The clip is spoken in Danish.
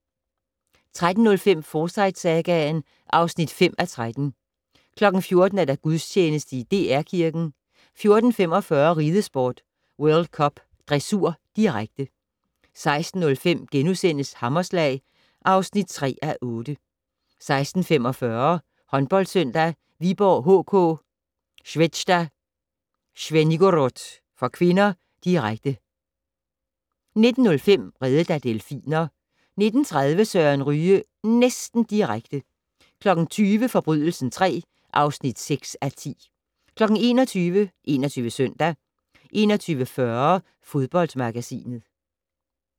13:05: Forsyte-sagaen (5:13) 14:00: Gudstjeneste i DR Kirken 14:45: Ridesport: World Cup dressur, direkte 16:05: Hammerslag (3:8)* 16:45: Håndboldsøndag: Viborg HK-Zvezda Zvenigorod (k), direkte 19:05: Reddet af delfiner 19:30: Søren Ryge - næsten direkte 20:00: Forbrydelsen III (6:10) 21:00: 21 Søndag 21:40: Fodboldmagasinet